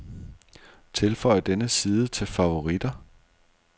Tilføj denne side til favoritter.